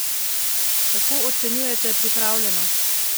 Kako ocenjujete pripravljenost?